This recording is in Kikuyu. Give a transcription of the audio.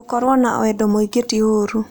Gũkorũo na wendo mũingĩ ti ũũru.